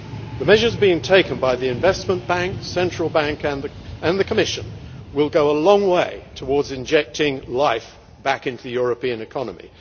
The measures being taken by the Investment Bank, the Central Bank and the Commission will go a long way towards injecting life back into the European economy.